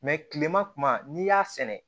kilema kuma n'i y'a sɛnɛ